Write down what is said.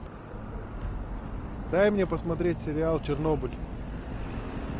дай мне посмотреть сериал чернобыль